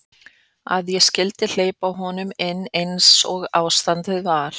Að ég skyldi hleypa honum inn eins og ástandið var.